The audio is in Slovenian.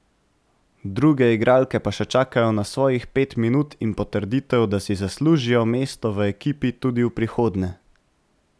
Druge igralke pa še čakajo na svojih pet minut in potrditev, da si zaslužijo mesto v ekipi tudi v prihodnje.